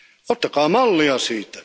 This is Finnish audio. Ottakaa mallia siitä.